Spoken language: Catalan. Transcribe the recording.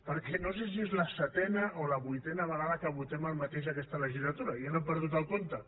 perquè no sé si és la setena o la vuitena vegada que votem el mateix aquesta legislatura ja n’he perdut el compte